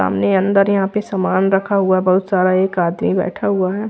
सामने अंदर यहाँ पे सामान रखा हुआ बहुत सारा एक आदमी बैठा हुआ है।